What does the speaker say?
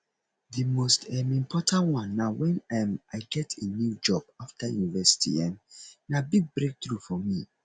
di most um important one na when um i get a new job after university um na big breakthrough for me